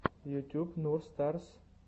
ютуб нур старс